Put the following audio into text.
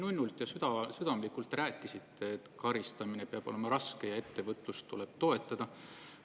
Te nii nunnult ja südamlikult rääkisite, et karistamine peab olema raske ja ettevõtlust tuleb toetada.